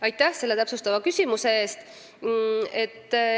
Aitäh selle täpsustava küsimuse eest!